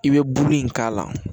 I bɛ buru in k'a la